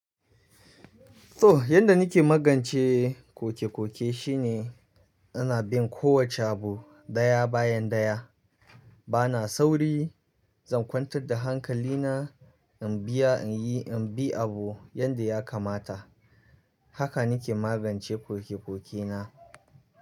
To, yanda nake magance kokekoke shine ana bin kowace abu daya bayan daya. Bana sauri, zan kwantar da hankali na, in biya in yi, in bi abu yanda ya kamata. Haka nake magance kokekoke na.